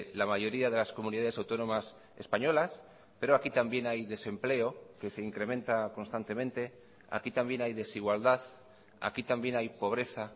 la mayoría de las comunidades autónomas españolas pero aquí también hay desempleo que se incrementa constantemente aquí también hay desigualdad aquí también hay pobreza